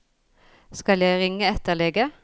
Skal jeg ringe etter lege?